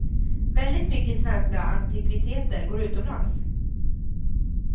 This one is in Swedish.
Väldigt mycket svenska antikviteter går utomlands.